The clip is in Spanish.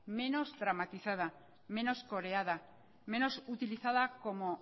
menos dramatizada menos coreada menos utilizada como